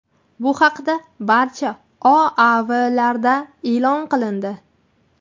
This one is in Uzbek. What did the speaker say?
Bu haqda barcha OAVlarda e’lon qilindi.